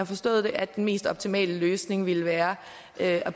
forstået det at den mest optimale løsning ville være at